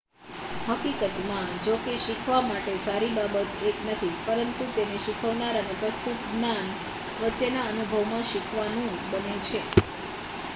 હકીકતમાં જો કે શીખવા માટે સારી બાબત એક નથી પરંતુ તેને શીખનાર અને પ્રસ્તુત જ્ઞાન વચ્ચેના અનુભવમાં શીખવાનું બને છે